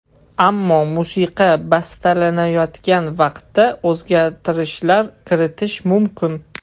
Ammo musiqa bastalanayotgan vaqtda o‘zgartirishlar kiritishim mumkin.